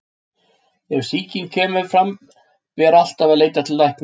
Ef sýking kemur fram ber alltaf að leita til læknis.